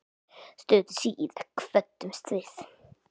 Stuttu síðar kvöddumst við.